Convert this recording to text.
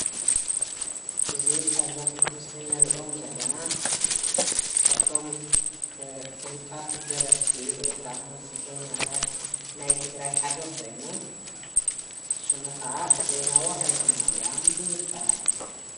እዚ ኣብዞም ምስሊ ንሪኦም ዘለና ካፍቶም እ ፍሉጣት ደረፍቲ ወይ ከዓ ሙዚቀኛታት ናይ ትግራይ ሓደ ኾይኑ ስሙ ኸዓ ዜናዊ ሃይለማርያም ይበሃል፡፡